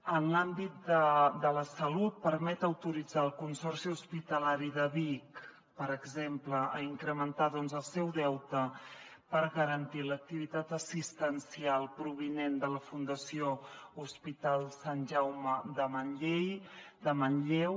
en l’àmbit de la salut permet autoritzar el consorci hospitalari de vic per exemple a incrementar doncs el seu deute per garantir l’activitat assistencial provinent de la fundació hospital sant jaume de manlleu